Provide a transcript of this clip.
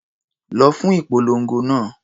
Lọ fún ìpolongo náà.